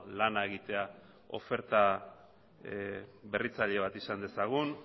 lana egitea oferta berritzaile bat izan dezagun